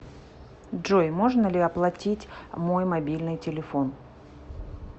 джой можно ли оплатить мой мобильный телефон